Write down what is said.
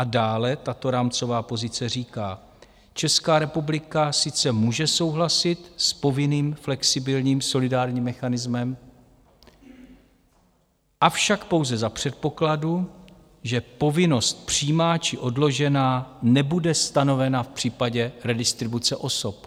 A dále tato rámcová pozice říká: "Česká republika sice může souhlasit s povinným flexibilním solidárním mechanismem, avšak pouze za předpokladu, že povinnost přímá či odložená nebude stanovena v případě redistribuce osob."